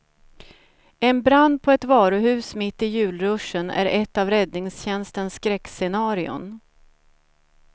En brand på ett varuhus mitt i julruschen är ett av räddningstjänstens skräckscenarion.